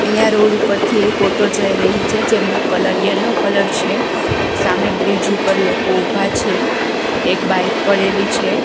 અહીંયા રોડ ઉપરથી એક ઓટો જય રહી છે જેમનો કલર યેલ્લો કલર છે સામે બ્રિજ ઉપર લોકો ઉભા છે એક બાઈક પડેલી છે.